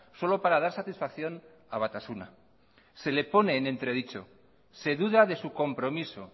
solo para dar satisfacción a batasuna se le pone en entredicho se duda de su compromiso